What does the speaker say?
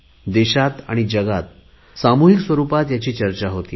देशात आणि जगात सामुहिक स्वरुपात याची चर्चा होत आहे